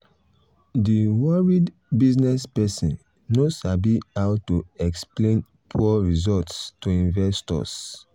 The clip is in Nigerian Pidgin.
um the worried business person um no sabi how to explain um poor results to investors.